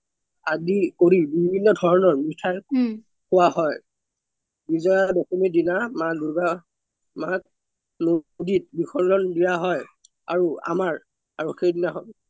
আদি কৰি বিভিন্ন ধৰনৰ মিঠাই সুৱা হৈ বিজযা দশমিৰ দিনা মা দুৰ্গা মা নদিত বিশৰ্জন দিযা হৈ আৰু আমৰ সৈদিনা খন